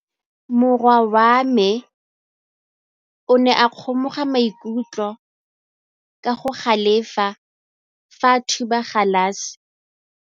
Morwa wa me o ne a kgomoga maikutlo ka go galefa fa a thuba galase.